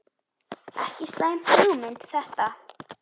Ekki slæm hugmynd þetta.